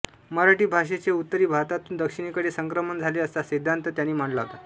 मराठी भाषेचे उत्तरी भारतातून दक्षिणेकडे संक्रमण झाले असा सिद्धान्त त्यांनी मांडला होता